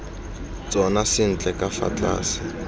tsona sentle ka fa tlase